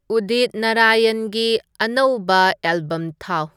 ꯎꯗꯤꯠ ꯅꯔꯌꯟꯒꯤ ꯑꯅꯧꯕ ꯑꯦꯜꯕꯝ ꯊꯥꯎ